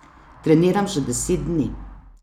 Treniram že deset dni.